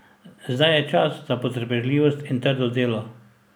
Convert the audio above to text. Zdaj je čas za potrpežljivost in trdo delo.